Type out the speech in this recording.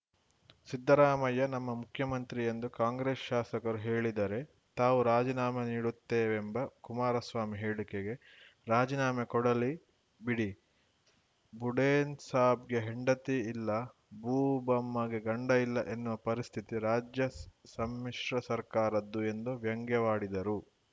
ಸಿದ್ದರಾಮಯ್ಯ ನಮ್ಮ ಮುಖ್ಯಮಂತ್ರಿ ಎಂದು ಕಾಂಗ್ರೆಸ್‌ ಶಾಸಕರು ಹೇಳಿದರೆ ತಾವು ರಾಜೀನಾಮೆ ನೀಡುತ್ತೇವೆಂಬ ಕುಮಾರಸ್ವಾಮಿ ಹೇಳಿಕೆಗೆ ರಾಜಿನಾಮೆ ಕೊಡಲಿ ಬಿಡಿ ಬುಡೇನ್‌ಸಾಬ್‌ಗೆ ಹೆಂಡತಿ ಇಲ್ಲ ಬೂಬಮ್ಮಗೆ ಗಂಡ ಇಲ್ಲ ಎನ್ನುವ ಪರಿಸ್ಥಿತಿ ರಾಜ್ಯ ಸಮ್ಮಿಶ್ರ ಸರ್ಕಾರದ್ದು ಎಂದು ವ್ಯಂಗ್ಯವಾಡಿದರು